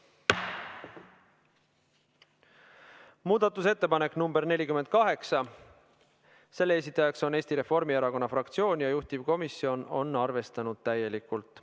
Muudatusettepanek nr 48, selle esitajaks on Eesti Reformierakonna fraktsioon ja juhtivkomisjon on arvestanud seda täielikult.